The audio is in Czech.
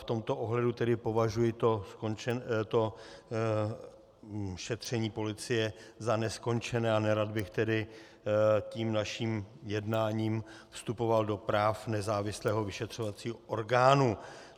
V tomto ohledu tedy považuji to šetření policie za neskončené a nerad bych tedy tím naším jednáním vstupoval do práv nezávislého vyšetřovacího orgánu.